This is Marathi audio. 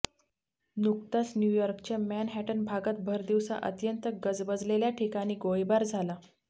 नुकताच न्यूयॉर्कच्या मॅनहॅटन भागात भरदिवसा अत्यंत गजबलेल्या ठिकाणी गोळीबार झाला